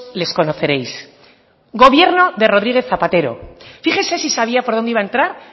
les conoceréis gobierno de rodríguez zapatero fíjese si sabía por dónde iba a entrar